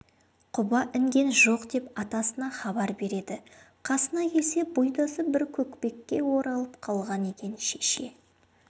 құба інген жоқ деп атасына хабар береді қасына келсе бұйдасы бір көкпекке оралып қалған екен шеше